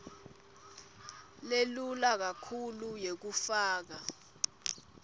lelula kakhulu yekufaka